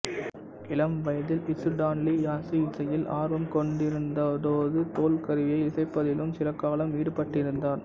இளம் வயதில் இசுடான்லி யாசு இசையில் ஆர்வம் கொண்டிருந்ததோடு தோல் கருவியை இசைப்பதிலும் சிலகாலம் ஈடுபட்டிருந்தார்